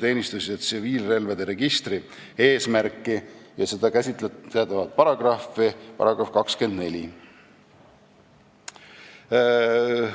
teenistus- ja tsiviilrelvade registri eesmärki ning seda käsitlevat § 24.